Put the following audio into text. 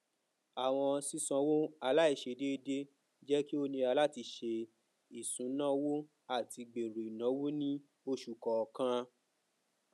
awọn sisanwo alaiṣe deede jẹ ki o nira lati ṣe isunawo ati gbero inawo ni oṣu kọọkan